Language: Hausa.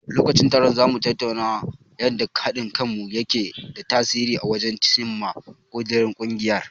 Lokacin taron, za mu tattauna yanda haɗin kanmu yake da tasiri wajen cimma ƙudirin ungiyar.